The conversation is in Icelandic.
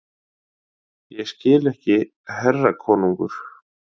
Ég skil ekki herra konungur!